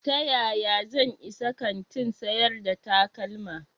Ta yaya zan isa kantin sayar da takalma?